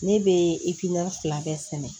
Ne bɛ fila bɛɛ sɛnɛ